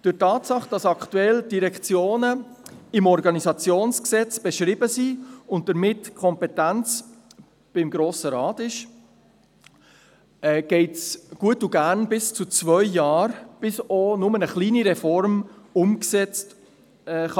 Bedingt durch die Tatsache, dass aktuell die Direktionen im Organisationsgesetz beschrieben sind, und damit die Kompetenz beim Grossen Rat liegt, geht es gut und gerne bis zu zwei Jahre, bis auch nur eine kleine Reform umgesetzt werden kann.